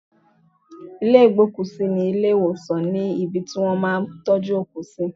Ilé ìgbókùsí ní ilé ìwòsàn ni ibi tí wón ti máa ń tọ́jú òkú.